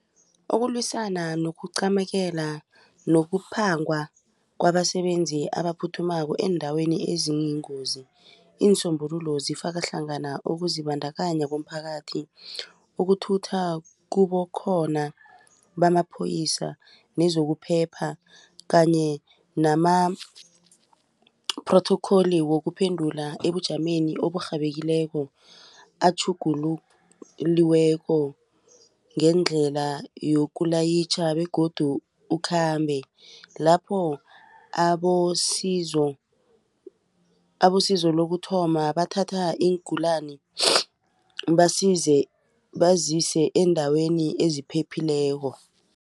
Ukulwisana nokucamekela nokuphangwa kwabasebenzi abaphuthukako eendaweni eziyingozi iinsombululo zifaka hlangana ukuzibandakanya komphakathi ukuthutha kubekhona bamapholoyisa nezokuphepha kanye nama-protocol wokuphendula ebujameni oburhabekileko atjhugululiweko ngendlela yokukulayitjha begodu ukhambe lapho abosizo lokuthoma bathatha iingulani bazise eendaweni eziphephileko.